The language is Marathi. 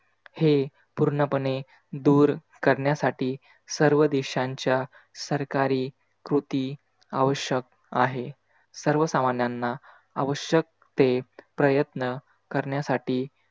हे पूर्णपणे दूर करण्यासाठी सर्व देशांच्या सरकार खोकी आवश्यक आहे. सर्वसामन्यांना आवश्यक ते प्रयन्त करण्यसाठी